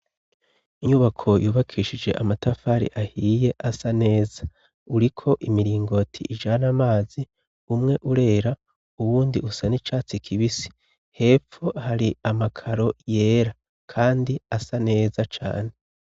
inyubako yubakishijwe amatafari ahiye asa neza uriko imiringoti ijana amazi umwe urera uwundi usa n'icatsi kibisi hepfo hari amakaro yera kandi asa neza cane